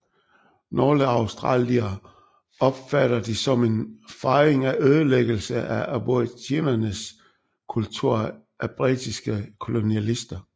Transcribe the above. Nogle australiere opfatter det som en fejring af ødelæggelse af aboriginernes kultur af britiske kolonialister